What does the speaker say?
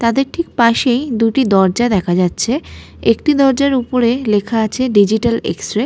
তাদের ঠিক পাশেই দুটি দরজা দেখা যাচ্ছে। একটি দরজার উপরে লেখা আছে ডিজিটাল এক্সরে ।